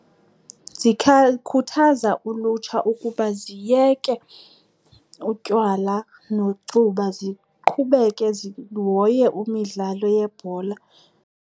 Zikhuthaza ulutsha ukuba ziyeke utywala nocuba ziqhubeke zihoye umidlalo webhola.